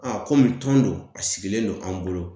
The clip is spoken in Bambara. komi tɔn don a sigilen don an bolo